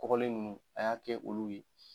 Kɔgɔlen ninnu a y'a kɛ olu ye